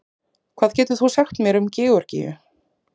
Hvað getur þú sagt mér um Georgíu?